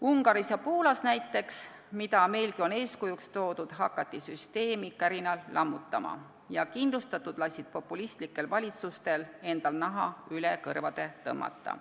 Ungaris ja Poolas, mida meilgi on eeskujuks toodud, hakati süsteemi kärinal lammutama ja kindlustatud lasid populistlikel valitsustel endal naha üle kõrvade tõmmata.